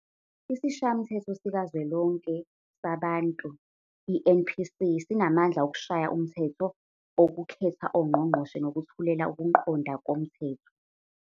Isishayamathetho sikaZwelonke saBantu, i-NPC, sinamandla okushaya umthetho, okukhetha ongqongqoshe nokuthulela ukuqonda kwomthetho.